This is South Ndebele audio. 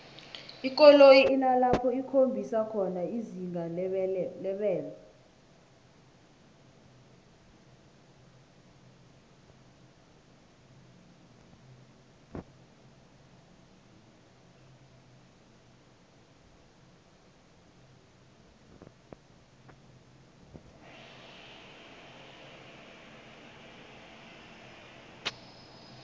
ikoloyi inalapho ikhombisa khona izinga lebelo